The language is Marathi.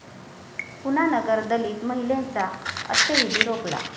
पुन्हा नगर, दलित महिलेचा अंत्यविधी रोखला!